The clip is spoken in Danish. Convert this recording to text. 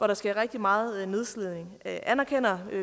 der sker rigtig meget nedslidning anerkender